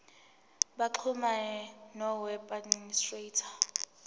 baxhumane noweb administrator